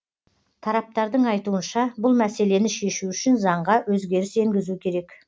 тараптардың айтуынша бұл мәселені шешу үшін заңға өзгеріс енгізу керек